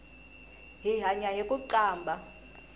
hi hanya hiku qambha